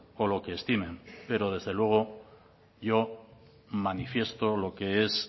o lo que estimen pero desde luego yo manifiesto lo que es